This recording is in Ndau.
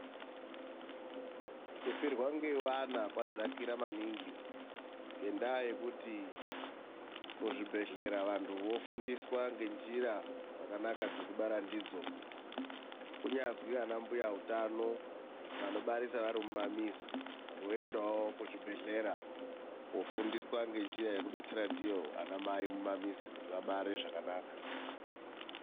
Kufirwa ngeana kwadzakira maningi nendaa yekuti muzvibhedhlera vantu vofundiswa ngenjira dzakanaka dzekubara ndidzo. Kunyazi ana mbuya hutano vanobarisa vari mumamizi voendawo kuzvibhedhle kufundiswa ngenjira yekubetsere ndiyo anamai mumamizi kuti abare zvakanaka.